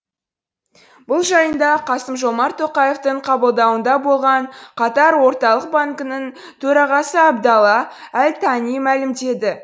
бұл жайында қасым жомарт тоқаевтың қабылдауында болған катар орталық банкінің төрағасы абдалла әл тани мәлімдеді